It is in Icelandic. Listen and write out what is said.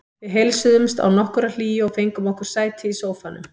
Við heilsuðumst án nokkurrar hlýju og fengum okkur sæti í sófanum.